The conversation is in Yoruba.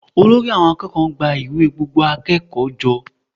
Olórí àwọn akẹ́kọ̀ọ́ ń gba ìwé gbogbo akẹ́kọ̀ọ́ jọ